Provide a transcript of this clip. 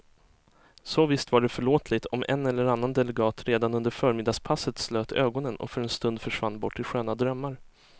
Så visst var det förlåtligt om en eller annan delegat redan under förmiddagspasset slöt ögonen och för en stund försvann bort i sköna drömmar.